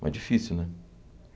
Mas difícil, né?